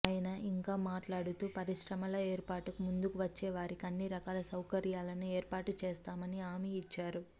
ఆయన ఇంకా మాట్లాడుతూ పరిశ్రమల ఏర్పాటుకు ముందుకు వచ్చే వారికి అన్ని రకాల సౌకర్యాలను ఏర్పాటు చేస్తామని హామీ ఇచ్చారు